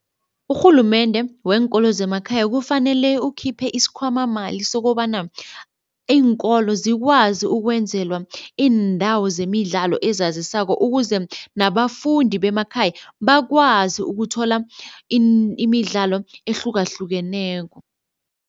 Urhulumende wenkolo zemakhaya kufanele ukhiphe isikhwamamali sokobana iinkolo zikwazi ukwenzelwa iindawo zemidlalo ezazisako ukuze nabafundi bemakhaya bakwazi ukuthola imidlalo ehlukahlukeneko.